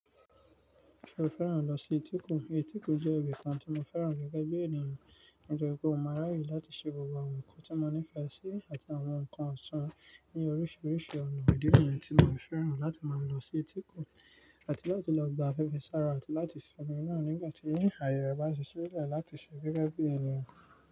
Mo fẹ́ràn lọ sí etíkun. Etíkun jẹ́ ibìkan tí mo fẹ́ràn gẹ́gẹ́ bí ènìyàn. Nítorí pé ó máa ń ráàyè láti ṣe gbogbo àwọn ǹkan tí mo nífẹ̀ẹ́ sí àti àwọn ǹkan ọ̀tún ní oríṣiríṣi ọ̀nà. Idí niyen tí mo fẹ́ràn láti máa lọ sí etíkun àti láti lọ gba afẹ́fẹ́ sára àti láti sinmi náà nígbà tí ìhà ìrẹ̀ bá ṣiṣẹ́ rẹ̀ láti ṣẹ gẹ́gẹ́ bí ènìyàn.